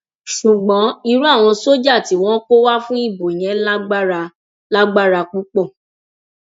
ṣùgbọn irú àwọn sójà tí wọn kó wá fún ìbò yẹn lágbára lágbára púpọ